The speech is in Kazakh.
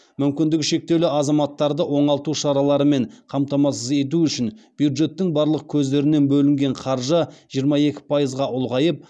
мүмкіндігі шектеулі азаматтарды оңалту шараларымен қамтамасыз ету үшін бюджеттің барлық көздерінен бөлінген қаржы жиырма екі пайызға ұлғайып